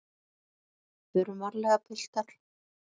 GVENDUR: Förum varlega, piltar!